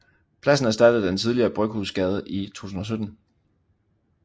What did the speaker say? Pladsen erstattede den tidligere Bryghusgade i 2017